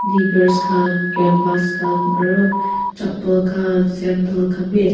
lighars khan canvas khan aru chappal khan sandal khan be ase.